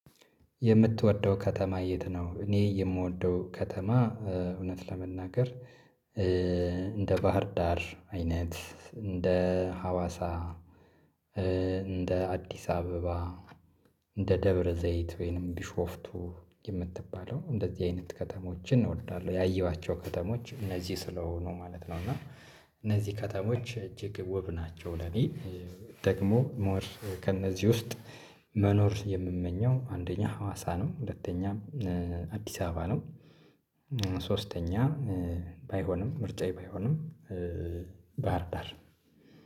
የምትወደው ከተማ የት ነው? እኔ የምወደው ከተማ ኧ እውነት ለመናገር ኧ እንደ ባህር ዳር አይነት እንደ ሀዋሳ ኧ እንደ አዲስ አበባ እንደ ደብረ ዘይት ወይንም ቢሾፍቱ የምትባለው እንደዚህ አይነት ከተሞችን እወዳለሁ ያየኋቸው ከተሞች እነዚህ ስለሆኑ ማለት ነው። እና እነዚህ ከተሞች እጅግ ውብ ናቸው። ለእኔ ደግሞ ሞር ከእነዚህ ውስጥ መኖር የምመኘው አንደኛ ሀዋሳ ነው። ሁለተኛ አዲስ አበባ ነው። ኧ ሶስተኛ ባይሆንም ምርጫዬ ባይሆንም ኧ ባህርዳር